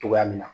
Togoya min na